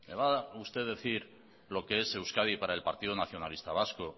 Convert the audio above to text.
va a usted decir lo que es euskadi para el partido nacionalista vasco